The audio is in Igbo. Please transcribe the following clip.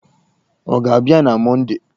Ọ ga-abịa na Mọndee?